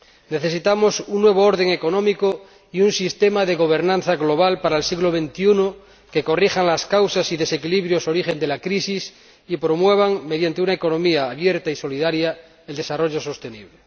Necesitamos un nuevo orden económico y un sistema de gobernanza global para el siglo XXI que corrijan las causas y desequilibrios origen de la crisis y promuevan, mediante una economía abierta y solidaria, el desarrollo sostenible.